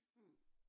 Mh